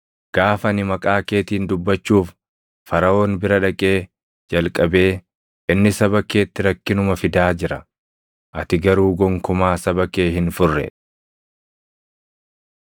Gaafa ani maqaa keetiin dubbachuuf Faraʼoon bira dhaqee jalqabee inni saba keetti rakkinuma fidaa jira; ati garuu gonkumaa saba kee hin furre.”